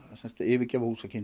að yfirgefa húsakynni